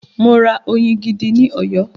Mo ra oyin gidi ní Ọ̀yọ́.